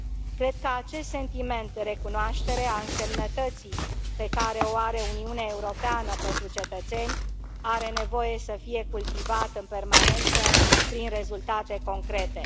Cred că acest sentiment de recunoaștere a însemnătății pe care o are Uniunea Europeană pentru cetățeni are nevoie să fie cultivat în permanență prin rezultate concrete.